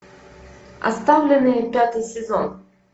оставленные пятый сезон